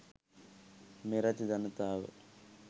මෙරට ජනතාව